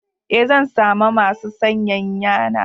Eh, zan San ma masu sanyayan na.